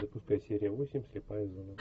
запускай серия восемь слепая зона